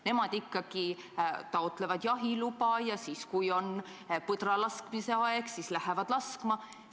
Nemad ikkagi taotlevad jahiluba ja siis, kui on põdra laskmise aeg, lähevad laskma.